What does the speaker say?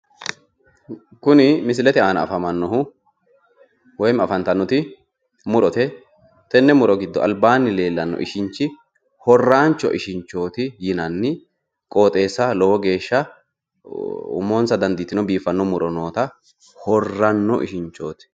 Kuni misilete aana afamannohu woyiimi Afantannoti tenne muro giddo albaanni leellanno Ishinchi horrancho ishinchooti yinanni qooxeesaho Lowo geesha umonsa dadiitino biifanno muro Noota horranno ishinchooti